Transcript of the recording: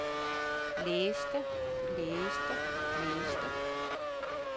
blæste blæste blæste